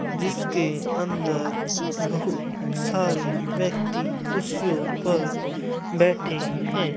जिसके अंदर बहुत सारे व्यक्ति कुर्सियों पर बैठे हैं।